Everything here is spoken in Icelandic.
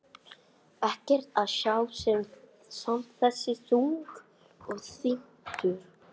Ekkert að sjá en samt þessi þungi þytur.